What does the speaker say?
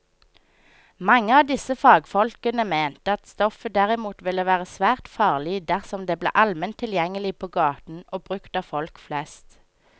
Mange av disse fagfolkene mente at stoffet derimot ville være svært farlig dersom det ble allment tilgjengelig på gaten og brukt av folk flest.